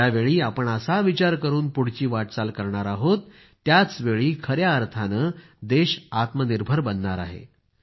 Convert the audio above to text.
ज्यावेळी आपण असा विचार करून पुढची वाटचाल करणार आहोत त्याचवेळी खया अर्थाने देश आत्मनिर्भर बनणार आहे